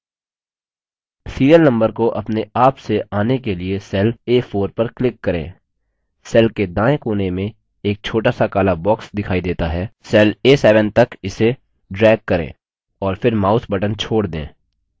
serial नम्बर को अपने आप से in के लिए cell a4 पर click करें cell के दाएं कोने में एक छोटा सा काला box दिखाई देता है cell a7 तक इसे drag करें और फिर mouse button छोड़ दें